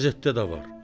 Qəzetdə də var.